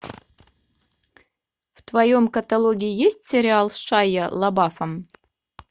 в твоем каталоге есть сериал с шайа лабафом